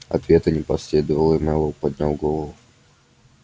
ответа не последовало и мэллоу поднял голову